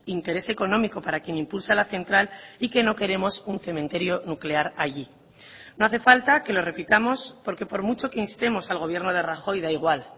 interés económico para quien impulsa la central y que no queremos un cementerio nuclear allí no hace falta que lo repitamos porque por mucho que instemos al gobierno de rajoy da igual